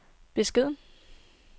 beskeden